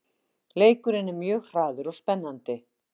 Leikurinn er mjög hraður og spennandi